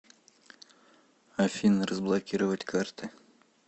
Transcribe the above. афина разблокировать карты